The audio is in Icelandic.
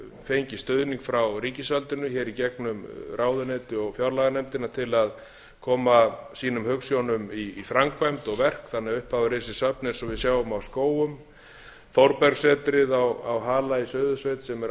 fengið stuðning frá ríkisvaldinu hér í gegnum ráðuneyti og fjárlaganefndina til að koma sínum hugsjónum í framkvæmd og verk þannig að upp hafa risið söfn eins og við sjáum á skógum þórbergssetrið á hala í suðursveit sem er alveg